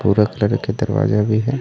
भूरा कलर के दरवाजा भी हे।